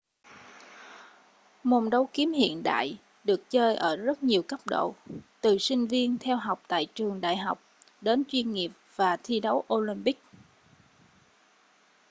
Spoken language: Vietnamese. môn đấu kiếm hiện đại được chơi ở rất nhiều cấp độ từ sinh viên theo học tại trường đại học đến chuyên nghiệp và thi đấu olympic